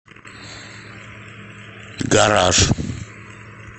гараж